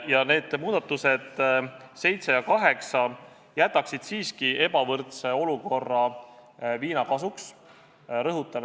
Ja need muudatusettepanekud nr 7 ja 8 jätaksid siiski ebavõrdse olukorra viina kasuks jõusse.